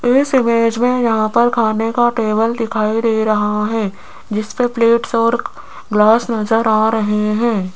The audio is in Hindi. इस इमेज में यहां पर खाने का टेबल दिखाई दे रहा है जिसपे प्लेट्स और ग्लास नजर आ रहे हैं।